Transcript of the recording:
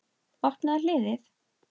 Opnaðu hliðið.